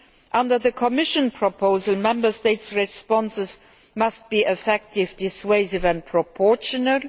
Under the Commission proposal, Member States' responses must be effective, dissuasive and proportionate.